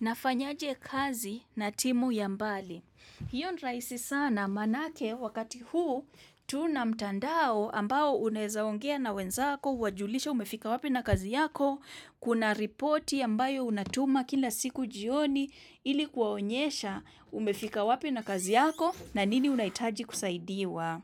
Nafanyaje kazi na timu ya mbali. Hiyo ni rahisi sana manake wakati huu tuna mtandao ambao uneza ongea na wenzako, uwajulishe umefika wapi na kazi yako, kuna reporti ambayo unatuma kila siku jioni ilikuwaonyesha umefika wapi na kazi yako na nini unaitaji kusaidiwa.